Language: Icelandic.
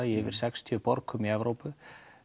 í yfir sextíu borgum í Evrópu